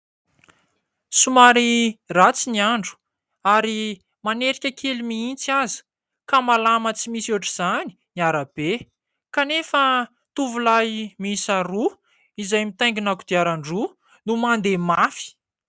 Somary ratsy ny andro ary manerika kely mihitsy aza ka malama tsy misy ohatra izany ny arabe kanefa tovolahy miisa roa izay mitaingina kodiaran-droa no mandeha mafy.